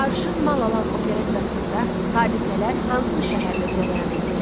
Arşın Malalan operettasında hadisələr hansı şəhərdə cərəyan eləyir?